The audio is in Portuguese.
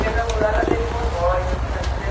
Chegamos lá, ela deixou nós, eu tinha três,